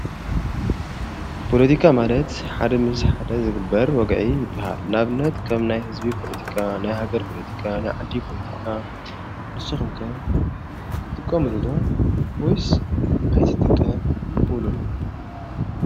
ፖለቲካ ማለት ሓደ ምስ ሓደ ዝግበር ወግዒ ይባሃል። ንኣብነት ከም ናይ ሕዝቢ ፖለቲካ፣ ናይሃገር ፖለቲካ፣ ናይ ዓዲ ፖለቲካ ንስኹም ከ ትጥቀሙሉ ዶ ወይስ ኣይትጥቀ ሙሉን?